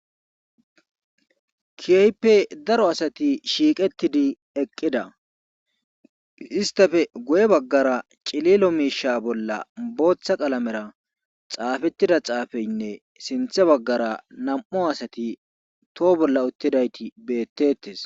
kiaype daro asati shiiqettidi eqqida istafe goye baggara cililo miisha bolla booththa qalamera xaafettida xaafeynne sinthe baggara nam7u asati too bolla uttidayti beettettes